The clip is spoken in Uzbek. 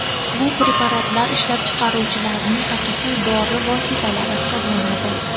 Bu preparatlar ishlab chiqaruvchilarning haqiqiy dori vositalari hisoblanadi.